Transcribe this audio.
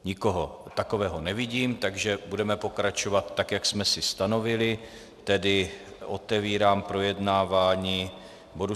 Nikoho takového nevidím, takže budeme pokračovat, tak jak jsme si stanovili, tedy otevírám projednávání bodu